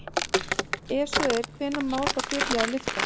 Ef svo er hvenær má þá byrja að lyfta?